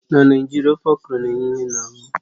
N'ala Naịjirịa, ofe okro na-enye ìhè n'ahụ